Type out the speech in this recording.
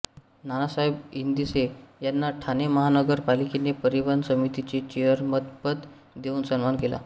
नानासाहेब इंदिसे यांना ठाणे महानगर पालिकेने परिवहन समितीचे चेअरमनपद देऊन सन्मान केला